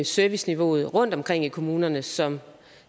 serviceniveauet rundtomkring i kommunerne som